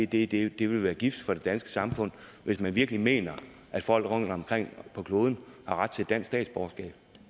det det vil være gift for det danske samfund hvis man virkelig mener at folk rundtomkring på kloden har ret til dansk statsborgerskab